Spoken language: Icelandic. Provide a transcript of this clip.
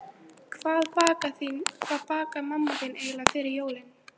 Hvað bakar mamma þín eiginlega fyrir jólin?